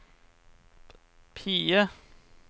PIE